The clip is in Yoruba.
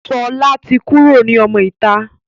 Sọlá tí kúrò ní ọmọ ìta.